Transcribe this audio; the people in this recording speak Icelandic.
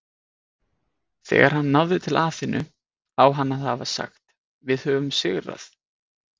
Þegar hann náði til Aþenu á hann að hafa sagt Við höfum sigrað!